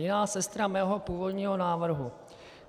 Jiná sestra mého původního návrhu.